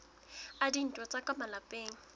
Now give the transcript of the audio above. a dintwa tsa ka malapeng